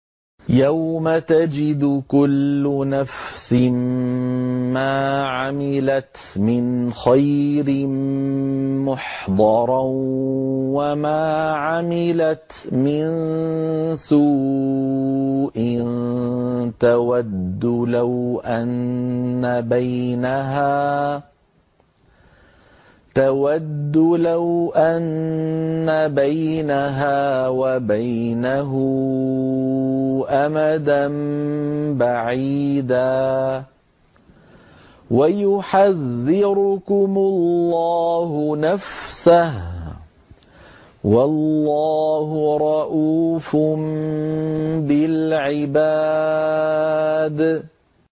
يَوْمَ تَجِدُ كُلُّ نَفْسٍ مَّا عَمِلَتْ مِنْ خَيْرٍ مُّحْضَرًا وَمَا عَمِلَتْ مِن سُوءٍ تَوَدُّ لَوْ أَنَّ بَيْنَهَا وَبَيْنَهُ أَمَدًا بَعِيدًا ۗ وَيُحَذِّرُكُمُ اللَّهُ نَفْسَهُ ۗ وَاللَّهُ رَءُوفٌ بِالْعِبَادِ